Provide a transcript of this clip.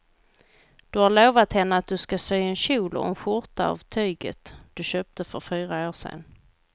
Du har lovat henne att du ska sy en kjol och skjorta av tyget du köpte för fyra år sedan.